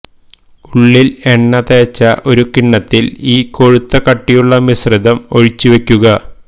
ഉള്ളിൽ എണ്ണ തേച്ച ഒരു കിണ്ണത്തിൽ ഈ കൊഴുത്ത കട്ടിയുള്ള മിശ്രിതം ഒഴിച്ച് വെക്കുക